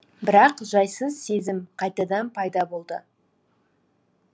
бірақ жайсыз сезім қайтадан пайда болды